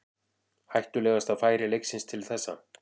Hættulegasta færi leiksins til þessa.